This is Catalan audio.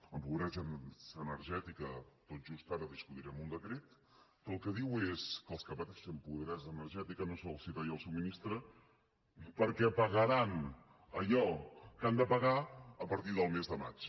en pobresa energètica tot just ara discutirem un decret que el que diu és que als que pateixen pobresa energètica no se’ls talla el subministrament perquè pagaran allò que han de pagar a partir del mes de maig